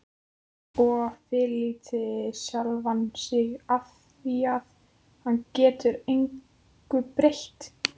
Og fyrirlíti sjálfan sig afþvíað hann getur engu breytt.